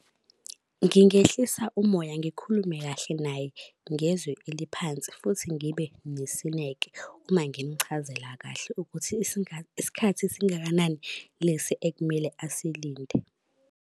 Ngingehlisa umoya ngikhulume kahle naye, ngezwi eliphansi futhi ngibe nesineke uma ngimuchazela kahle ukuthi isikhathi esingakanani lesi ekumele asilinde.